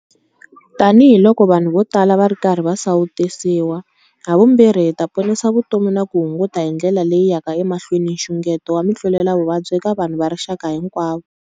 Tanihiloko vanhu vo tala va ri karhi va sawutisiwa, havumbirhi hi ta ponisa vutomi na ku hunguta hi ndlela leyi yaka emahlweni nxungeto wa mitluletavuvabyi eka vanhu va rixaka hinkwavo.